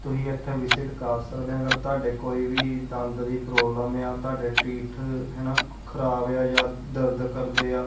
ਤੁਸੀਂ ਇਥੇ ਵਿਸਿਟ ਕਰ ਸਕਦੇ ਆ ਅਗਰ ਤੁਹਾਡੇ ਕੋਈ ਵੀ ਦੰਦ ਦੀ ਪ੍ਰੋਬਲਮ ਆ ਤੁਹਾਡੇ ਟੀਥ ਹਨਾ ਖਰਾਬ ਆ ਜਾਂ ਦਰਦ ਕਰਦੇ ਆ।